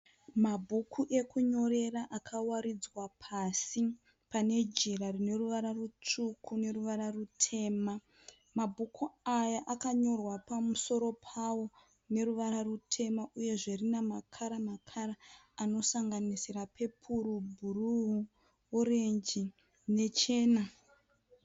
Mabhuku ekunyorera akawaridzwa pasi pane jira rine ruvara rutsvuku neruvara rutema. Mabhuku aya akanyorwa pamusoro pawo neruvara rutema uyezve rine makara makara anosanganisira pepuro, bhuruu, orenji nechena